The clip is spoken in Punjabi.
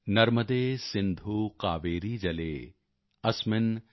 ਨਰਮਦੇ ਸਿੰਧੂ ਕਾਵੇਰੀ ਜਲੇ ਅਸਮਿਨ੍ ਸਨਿਧਿ ਕੁਰੂ॥